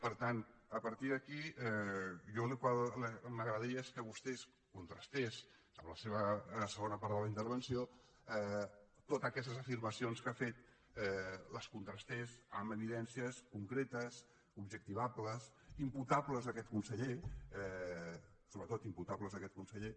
per tant a partir d’aquí a mi el que m’agradaria és que vostè contrastés en la seva segona part de la intervenció totes aquestes afirmacions que ha fet les contrastés amb evidències concretes objectivables imputables a aquest conseller sobretot imputables a aquest conseller